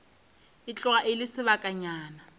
e tloga e le sebakanyana